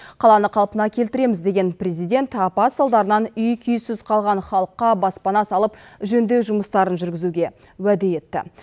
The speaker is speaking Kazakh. қаланы қалпына келтіреміз деген президент апат салдарынан үй күйсіз қалған халыққа баспана салып жөндеу жұмыстарын жүргізуге уәде етті